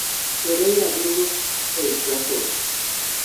periera dwogo old trafford